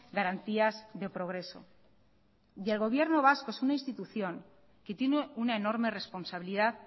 garantías de progreso y el gobierno vasco es una institución que tiene una enorme responsabilidad